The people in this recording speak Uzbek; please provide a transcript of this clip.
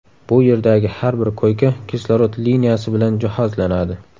Bu yerdagi har bir koyka kislorod liniyasi bilan jihozlanadi.